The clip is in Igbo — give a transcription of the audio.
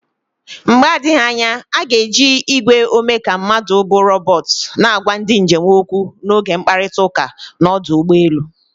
Mgbe adịghị anya a ga-eji igwe omeka mmadụ bụ robot na-agwa ndị njem okwu n'oge mkparịta ụka n'ọdụ ụgbọ elu.